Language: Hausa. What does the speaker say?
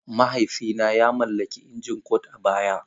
Mahaifina ya mallaki injin Kord a baya.